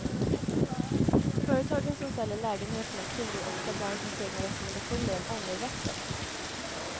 Företagen som säljer lägenheterna kringgår ofta branschens egna rekommendationer om ångerrätten.